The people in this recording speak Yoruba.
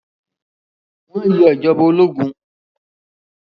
Wọ́n yọ ìjọba ológun?